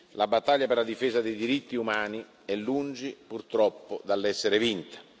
La battaglia per la difesa dei diritti umani è lungi, purtroppo, dall'essere vinta.